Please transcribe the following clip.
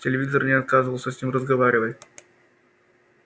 телевизор не отказывался с ним разговаривать